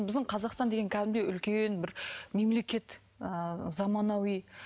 біздің қазақстан деген кәдімгідей үлкен бір мемлекет ыыы замануи